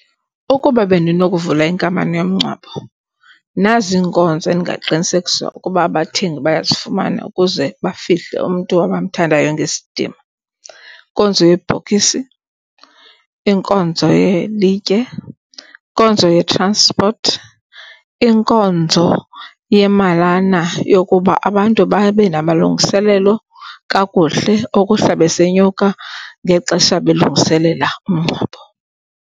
Ukuba bendinokuvula inkampani yomngcwabo nazi iinkonzo endingaqinisekisa ukuba abathengi bayazifumana ukuze bafihle umntu abamthandayo ngesdima. Inkonzo yebhokisi, inkonzo yelitye, inkonzo ye-transport, inkonzo yemalana yokuba abantu babe namalungiselelo kakuhle okuhla besenyuka ngexesha belungiselela umngcwabo.